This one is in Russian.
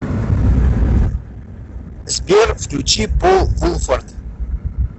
сбер включи пол вулфорд